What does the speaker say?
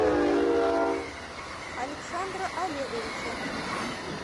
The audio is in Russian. александра олеговича